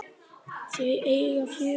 Þau eiga fjögur börn